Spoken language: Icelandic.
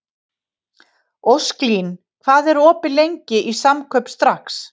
Ósklín, hvað er opið lengi í Samkaup Strax?